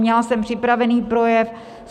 Měla jsem připravený projev.